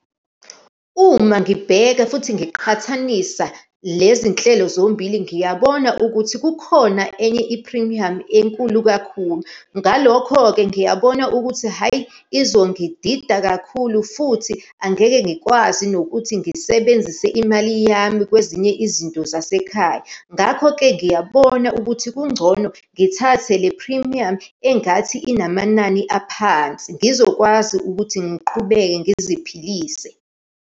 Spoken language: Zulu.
Uma ngibheka futhi ngiqhathanisa lezi nhlelo zombili, ngiyabona ukuthi kukhona enye iphrimiyamu enkulu kakhulu. Ngalokho-ke, ngiyabona ukuthi hhayi, izongidida kakhulu, futhi angeke ngikwazi nokuthi ngisebenzise imali yami kwezinye izinto zasekhaya. Ngakho-ke ngiyabona ukuthi kungcono ngithathe le phrimiyamu engathi inamanani aphansi, ngizokwazi ukuthi ngiqhubeke ngiziphilise.